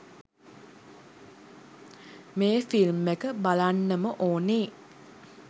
මේ ෆිල්ම් එක බලන්නම ඕනේ